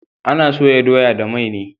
Ana soya doya da mai ne